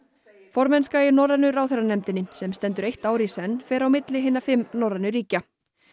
formennska í norrænu ráðherranefndinni sem stendur eitt ár í senn fer á milli hinna fimm norrænu ríkja